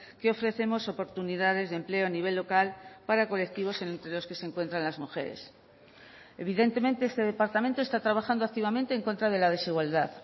que ofrecemos oportunidades de empleo a nivel local para colectivos entre los que se encuentran las mujeres evidentemente este departamento está trabajando activamente en contra de la desigualdad